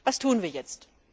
Was tun wir jetzt?